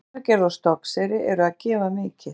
Hveragerði og Stokkseyri eru að gefa mikið.